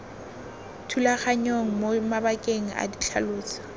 thulaganyong mo mabakeng a ditlhaloso